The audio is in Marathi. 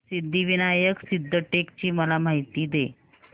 सिद्धिविनायक सिद्धटेक ची मला माहिती दे